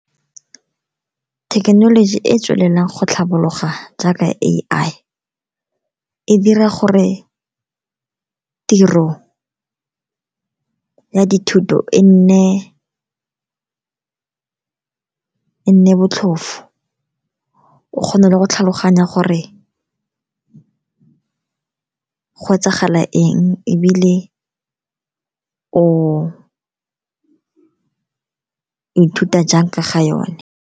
Thekenoloji e e tswelelang go tlhabologa jaaka A_I, e dira gore tiro ya dithuto e nne botlhofo, o kgone le go tlhaloganya gore go etsagala eng, ebile o ithuta jang ka ga yone.